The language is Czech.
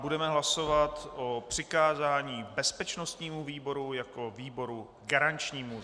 Budeme hlasovat o přikázání bezpečnostnímu výboru jako výboru garančnímu.